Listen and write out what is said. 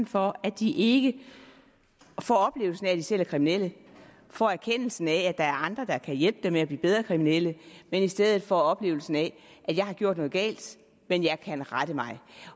for at de ikke får oplevelsen af at de selv er kriminelle og får erkendelsen af at der er andre der kan hjælpe dem med at blive bedre kriminelle men i stedet får oplevelsen af jeg har gjort noget galt men jeg kan rette mig